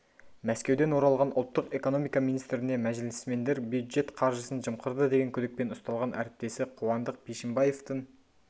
мәскеуден оралған ұлттық экономика министріне мәжілісмендер бюджет қаржысын жымқырды деген күдікпен ұсталған әріптесі қуандық бишімбаевтың